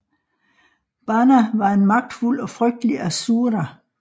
Bana var en magtfuld og frygtelig asura